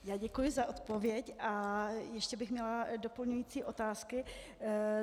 Já děkuji za odpověď a ještě bych měla doplňující otázky.